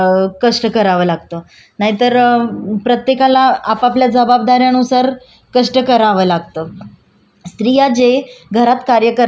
स्रीयाजे घरात कार्यकर्ता त्याला श्रम धरण्यात येत नाही कारण ते कार्य कुठल्याही मोबदल्याच्या अपेक्षे सह करण्यात येत नाही